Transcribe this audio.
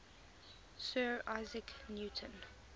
sir isaac newton